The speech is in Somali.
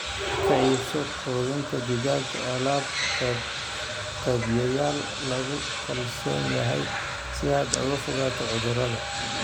Ka iibso quudinta digaaga alaab-qeybiyeyaal lagu kalsoon yahay si aad uga fogaato cudurrada.